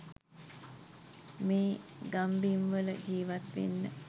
මේ ගම්බිම්වල ජීවත්වෙන්න